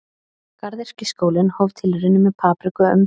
Garðyrkjuskólinn hóf tilraunir með papriku um